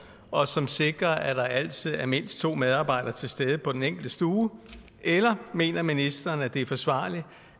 og som sikrer at der altid er mindst to medarbejdere til stede på den enkelte stue eller mener ministeren at det er forsvarligt